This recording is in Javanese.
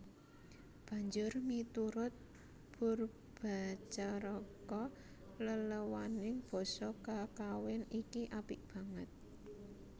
Banjur miturut Poerbatjaraka leléwaning basa kakawin iki apik banget